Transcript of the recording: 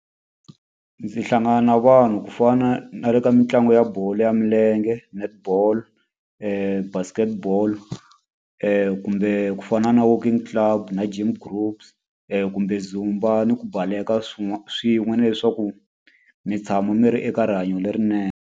Ndzi hlangana na vanhu ku fana na le ka mitlangu ya bolo ya milenge, netball, basketball, kumbe ku fana na walking club na gym groups, kumbe ni ku baleka swin'we na leswaku mi tshama mi ri eka rihanyo lerinene.